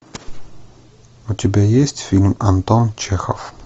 у тебя есть фильм антон чехов